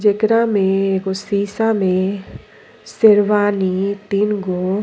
जेकरा में एगो शीशा में सेरवानी तीन गो --